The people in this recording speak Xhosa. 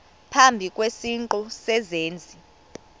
phambi kwesiqu sezenzi